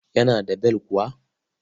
Yana da bel kuwa?